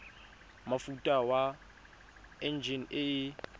mofuta wa enjine e e